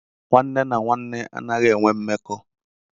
Nwanne na nwanne anaghị enwe mmekọ